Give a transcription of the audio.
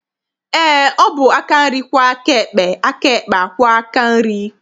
Eé, ọ bụ aka nri kwọọ aka ekpe, aka ekpe akwọọ aka nri.